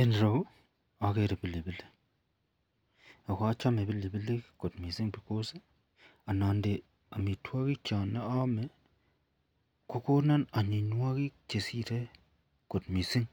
En ireyu agere pilipilik akochame pilipilik kot mising because anande amitwagik chanayame Konan aminywanik Cheshire kot mising